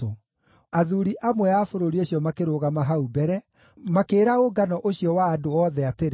Athuuri amwe a bũrũri ũcio makĩrũgama hau mbere, makĩĩra ũngano ũcio wa andũ othe atĩrĩ,